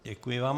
Děkuji vám.